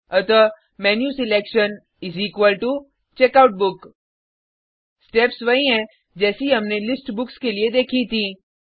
अतः menu selection is equal to checkout book steps वही हैं जैसी हमने लिस्ट बुक्स के लिए देखीं थीं